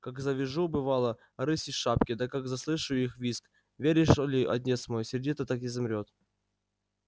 как завижу бывало рысьи шапки да как заслышу их визг веришь ли отец мой сердце так и замрёт